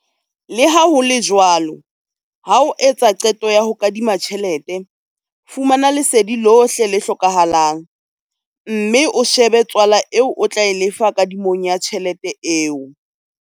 Le ha ho le jwalo, ha o etsa qeto ya ho kadima tjhelete, fumana lesedi lohle le hlokahalang, mme o shebe tswala eo o tla e lefa kadimong ya tjhelete eo.